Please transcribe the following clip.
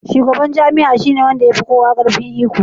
Shugaban jami'a shi ne wanda ya fi kowa ƙarfin iko.